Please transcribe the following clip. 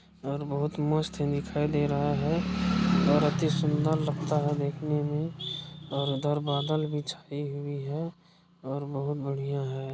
और बहुत बहुत मस्त ही दिखायी रहा है और अति सुँदर लगता है देखने में और इधर बादल भी छायी हुई है और बहुत बढ़िया है।